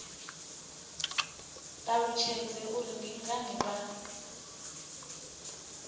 ṱalutshedze uri ndi ngani vha